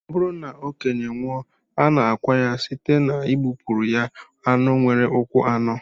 Ọ bụrụ na okenye nwụọ, a na-akwa ya site n'igbupụrụ ya anụ nwere ụkwụ anọ